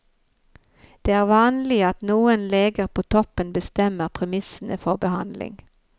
Det vanlige er at noen leger på toppen bestemmer premissene for behandling.